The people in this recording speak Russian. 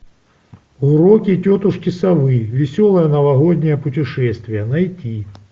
уроки тетушки совы веселое новогоднее путешествие найти